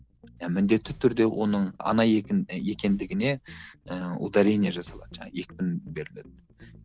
иә міндетті түрде оның ана екендігіне ыыы ударение жасалады екпін беріледі